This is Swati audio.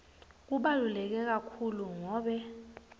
kubaluleke kakhulu ngobe